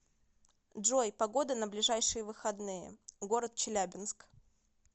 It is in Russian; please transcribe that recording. джой погода на ближайшие выходные город челябинск